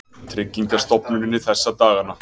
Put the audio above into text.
Tryggingastofnuninni þessa dagana.